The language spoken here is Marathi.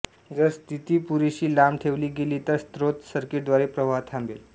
जर स्थिती पुरेशी लांब ठेवली गेली तर स्त्रोत सर्किटद्वारे प्रवाह थांबेल